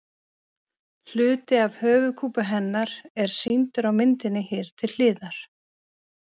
Hluti af höfuðkúpu hennar er sýndur á myndinni hér til hliðar.